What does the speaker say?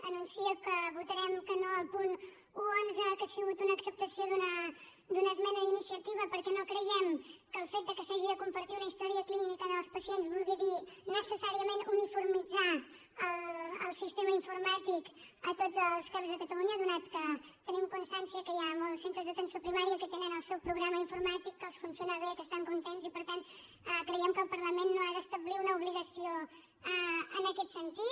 anuncio que votarem que no al punt cent i onze que ha sigut una acceptació d’una esmena d’iniciativa perquè no creiem que el fet que s’hagi de compartir una història clínica als pacients vulgui dir necessàriament uniformitzar el sistema informàtic a tots els cap de catalunya atès que tenim constància que hi ha molts centres d’atenció primària que tenen el seu programa informàtic que els funciona bé que estan contents i per tant creiem que el parlament no ha d’establir una obligació en aquest sentit